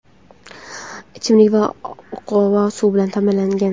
ichimlik va oqova suv bilan ta’minlangan.